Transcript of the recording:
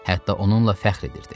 Hətta onunla fəxr edirdi.